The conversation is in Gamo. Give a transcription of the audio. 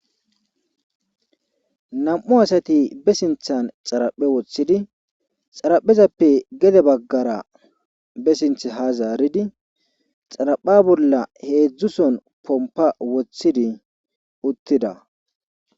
Nam7u asati be sinthan xaraphe woththidi xaraphezappe gede baggara be sinth ha zaaridi xarapha bolla heedzdzuson pompa woththidi uttida.